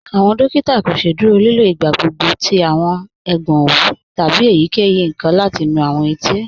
Awọn dòkìtà kò sẹ̀dúrò lìlò igbàgbọ̀gbọ̀ tí ègbọn owú tábí èyíkeyí nkan láti nú awọn ètí.